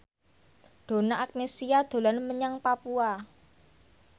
Donna Agnesia dolan menyang Papua